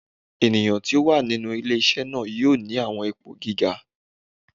Eniyan ti o wa ninu ile-iṣẹ naa yoo ni awọn ipo giga